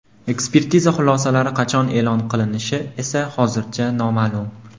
Ekspertiza xulosalari qachon e’lon qilinishi esa hozircha noma’lum.